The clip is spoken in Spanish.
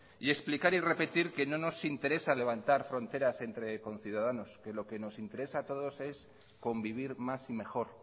y explicar y repetir que no nos interesa levantar fronteras entre conciudadanos que lo que nos interesa a todos es convivir más y mejor